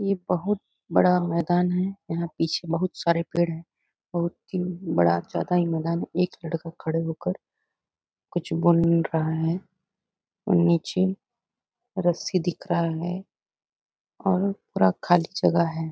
ये बहुत बड़ा मैदान है यहाँ पीछे बहुत सारे पेड़ है बहुत ही बड़ा ज्यादा ही मैदान हैएक लड़का खड़े होकर कुछ बोल रहा है और नीचे रस्सी दिख रहा है और पूरा खाली जगह है|